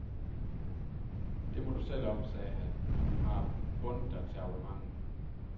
Det må du selv om, sagde han, men du har bundet dig til abonnementet.